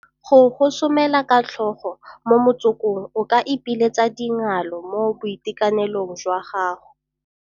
Go gosomela ka tlhogo mo motsokong o ka ipiletsa dingalo mo boitekanelong jwa gago